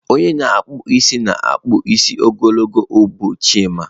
Onye na-akpụ isi na-akpụ isi ogologo ubu Chima.